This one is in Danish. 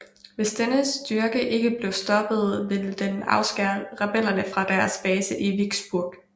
Hvis denne styrke ikke blev stoppet ville den afskære rebellerne fra deres base i Vicksburg